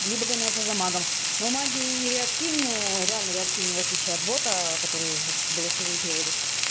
либо гоняться за магом но маги реактивные реально реактивные в отличие от бота который звук в голосовые переводит